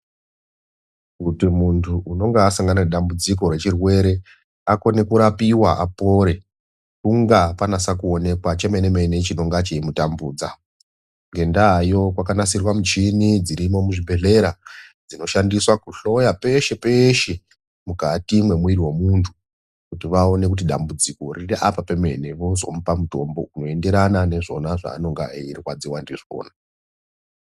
Kuti muntu unenge wasangana nedambudziko rechirwere, akone kurapiwa apore hunga akwanisa kuwonekwa chemene mene chinenga cheimutambudza. Ngendaa iyoyo kwakanasirwa michini dzirimo muzvibhedlera dzinoshandiswa kuhloya peshe peshe mukati memumwiri wemuntu kuti vawone kuti dambudziko riri apa pemene vozomupa mutombo unoenderana nezvona zvaanenga eyirwadziwa ndizvona.